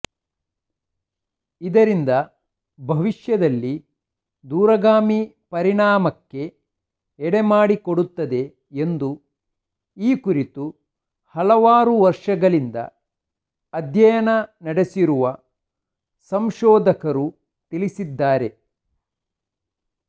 ಇದರಿಂದ ಭವಿಷ್ಯದಲ್ಲಿ ದೂರಗಾಮಿ ಪರಿಣಾಮಕ್ಕೆ ಎಡೆ ಮಾಡಿಕೊಡುತ್ತದೆ ಎಂದು ಈ ಕುರಿತು ಹಲವಾರು ವರ್ಷಗಳಿಂದ ಅಧ್ಯಯನ ನಡೆಸಿರುವ ಸಂಶೋಧಕರು ತಿಳಿಸಿದ್ದಾರೆ